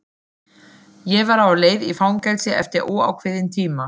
Ég var á leið í fangelsi eftir óákveðinn tíma.